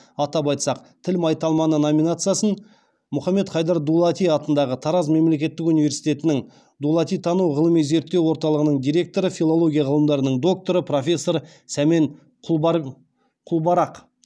атап айтсақ тіл майталманы номинациясын мұхаммед хайдар дулати атындағы тараз мемлекеттік университетінің дулатитану ғылыми зерттеу орталығының директоры филология ғылымдарының докторы профессор сәмен құлбарақ